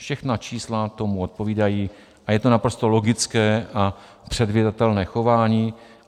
Všechna čísla tomu odpovídají a je to naprosto logické a předvídatelné chování.